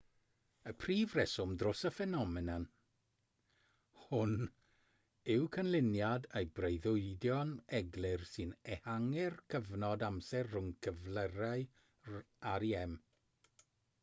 y prif reswm dros y ffenomen hon yw canlyniad y breuddwydion eglur sy'n ehangu'r cyfnod amser rhwng cyflyrau rem